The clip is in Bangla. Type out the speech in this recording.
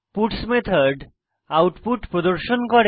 পাটস মেথড আউটপুট প্রদর্শন করবে